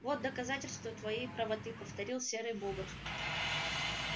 вот доказательство твоей правоты повторил серый бобр